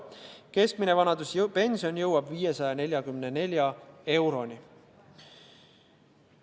Keskmine vanaduspension jõuab 544 euroni.